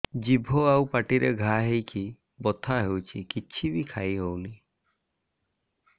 ଜିଭ ଆଉ ପାଟିରେ ଘା ହେଇକି ବଥା ହେଉଛି କିଛି ବି ଖାଇହଉନି